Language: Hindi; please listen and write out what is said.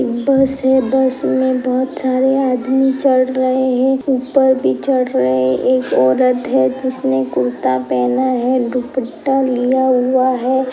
बस है। बस में बहुत सारे आदमी चढ़ रहे हैं। ऊपर भी चढ़ रहे हैं। एक औरत है। जिसने कुर्ता पहना है दुप्पटा लिया हुआ है।